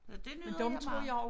Så det nyder jeg meget